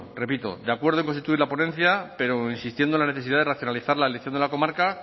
repito de acuerdo en constituir la ponencia pero insistiendo en la necesidad de racionalizar la elección de la comarca